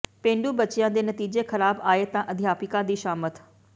ਪੇਂਡੂ ਬੱਚਿਆਂ ਦੇ ਨਤੀਜੇ ਖ਼ਰਾਬ ਆਏ ਤਾਂ ਅਧਿਆਪਕਾਂ ਦੀ ਸ਼ਾਮਤ